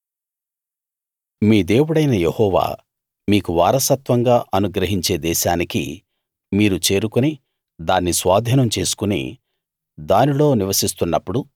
మీ దేవుడైన యెహోవా మీకు వారసత్వంగా అనుగ్రహించే దేశానికి మీరు చేరుకుని దాన్ని స్వాధీనం చేసుకుని దానిలో నివసిస్తున్నప్పుడు